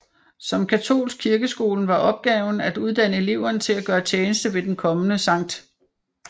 Som katolsk kirkeskole var opgaven at uddanne eleverne til at gøre tjeneste ved den kommende Skt